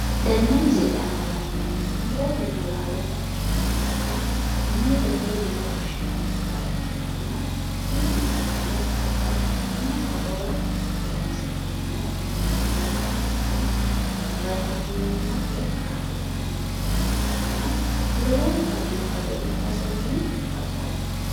Tenne misile aana la'neemmohu murotenna laalote afi'neemmota muuzete yine woshinannita ikkitanna tini muuzeno babbaxxitino horora horoonsi'neemmo inteemmo hattono vitaminimmate kaa'litannotanna ikkitanna lowonta biifado ikkasenni baxoomma